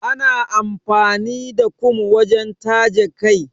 Ana amfani da kum wajen taje kai.